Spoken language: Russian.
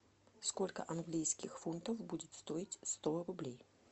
сколько английских фунтов будет стоить сто рублей